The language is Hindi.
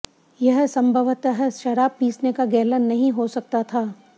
यह संभवतः शराब पीसने का गैलन नहीं हो सकता था